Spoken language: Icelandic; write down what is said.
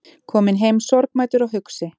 Kominn heim sorgmæddur og hugsi